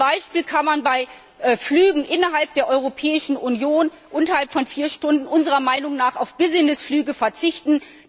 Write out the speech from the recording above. Zum Beispiel kann man bei Flügen innerhalb der Europäischen Union, die weniger als vier Stunden dauern, unserer Meinung nach auf Business Flüge verzichten.